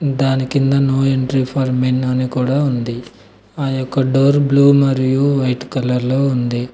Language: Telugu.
దాని కింద నో ఎంట్రీ ఫర్ మెన్ అని కూడా ఉంది ఆ యొక్క డోర్ బ్లూ మరియు వైట్ కలర్ లో ఉంది.